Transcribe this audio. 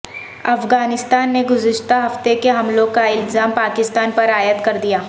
افغانستان نے گزشتہ ہفتے کے حملوں کا الزام پاکستان پر عائد کردیا